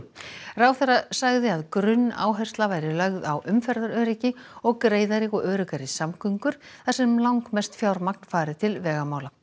ráðherra sagði að grunnáhersla væri lögð á umferðaröryggi og greiðari og öruggari samgöngur þar sem langmest fjármagn fari til vegamála